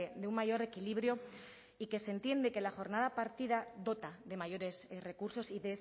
de un mayor equilibrio y que se entiende que la jornada partida dota de mayores recursos y